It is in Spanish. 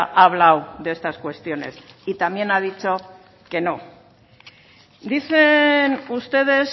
ha hablado de estas cuestiones y también ha dicho que no dicen ustedes